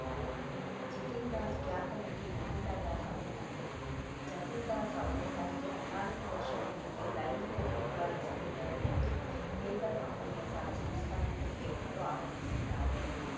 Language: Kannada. ಜಿತಿನ್‌ ದಾಸ್‌ ಖ್ಯಾತ ನಟಿ ನಂದಿತಾ ದಾಸ್‌ ಅವರ ತಂದೆ ಜತಿನ್‌ ದಾಸ್‌ ಅವರು ತನಗೆ ಹದಿನಾಲ್ಕು ವರ್ಷದ ಹಿಂದೆ ಲೈಂಗಿಕ ಕಿರುಕುಳ ಎಸಗಿದ್ದರು ಎಂದು ಪೇಪರ್‌ ಕಂಪನಿಯ ಸಹ ಸಂಸ್ಥಾಪಕಿಯೊಬ್ಬರು ಆರೋಪಿಸಿದ್ದಾರೆ